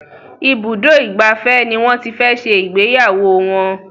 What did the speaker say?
Ibùdó ìgbafẹ́ ní wón tí fè ṣe Ìgbéyàwó wón.